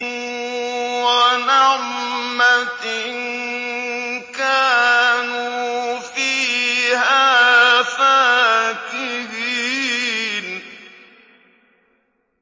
وَنَعْمَةٍ كَانُوا فِيهَا فَاكِهِينَ